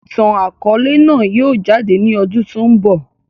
Ìtàn akọ̀ọ̀lẹ náà yìí ó jáde ní ọdún tòun bọ̀.